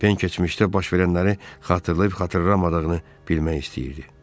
Pen keçmişdə baş verənləri xatırlayıb xatırlamadığını bilmək istəyirdi.